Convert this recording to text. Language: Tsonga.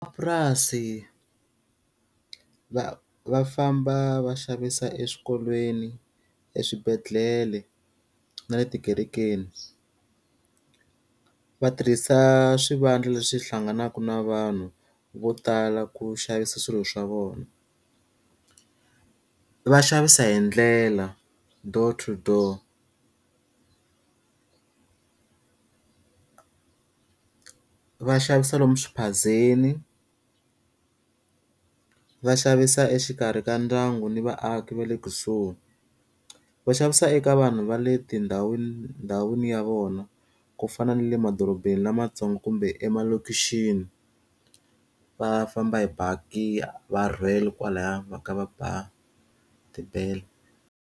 Va va famba va xavisa eswikolweni, eswibedhlele na le tikerekeni. Va tirhisa swivandla leswi hlanganaka na vanhu vo tala ku xavisa swilo swa vona, va xavisa hi ndlela door to door. Va xavisa lomu swiphazeni, va xavisa exikarhi ka ndyangu ni vaaki va le kusuhi, va xavisa eka vanhu va le tindhawini ndhawini ya vona, ku fana na le madorobeni lamantsongo kumbe emalokixini. Va famba hi baki va rhwele kwalaya va ka va ba tibele.